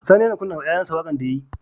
Sani yAna kunna wa yayan shi waƙar da yayi